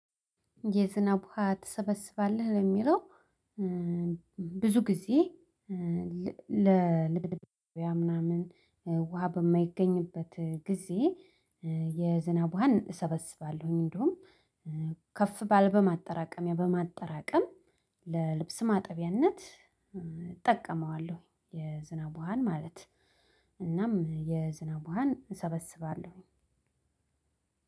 የዝናብ ሀያት ትሰበስባለህ የሚለው፣ ብዙ ጊዜ ለልብስ ምናምን ውሃ በማይገኝበት ጊዜ የዝናብ ውሃን እሰበስባለሁኝ እንደውም ከፍ ባል በማጠራቀሚያ በማጠራቀም ለልብስ ማጠቢያነት እጠቀማለሁ። የዝናብ ውሃን ማለት እናም የዝናብ ውሃን እሰበስባለሁኝ